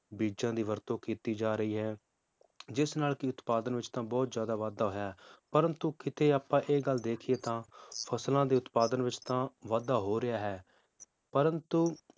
ਬੀਜਾਂ ਦੀ ਵਰਤੋਂ ਕੀਤੀ ਜਾ ਰਹੀ ਹੈ ਜਿਸ ਨਾਲ ਕੀ ਉਤਪਾਦਨ ਵਿਚ ਤਾਂ ਬਹੁਤ ਜ਼ਿਆਦਾ ਵਾਧਾ ਹੋਇਆ ਹੈ ਪ੍ਰੰਤੂ ਕਿਤੇ ਆਪਾਂ ਇਹ ਗੱਲ ਦੇਖੀਏ ਤਾਂ, ਫਸਲਾਂ ਦੇ ਉਤਪਾਦਨ ਵਿਚ ਤਾਂ ਵਾਧਾ ਹੋ ਰਿਹਾ ਹੈ, ਪ੍ਰੰਤੂ